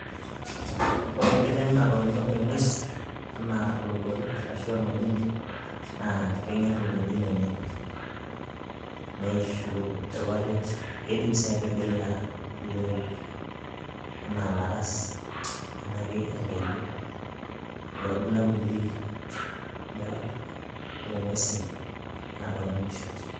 Ore enkiteng' natoonyo eng'ues enaa olowuaru ashu orng'ojine naa keng'err olchoni lenye neishu irpapit, keidim sii atigila ilooik enaa ilaras enaa ake enkeju ilo orbulabuli loo ng'uesin naatoonyo inkishu.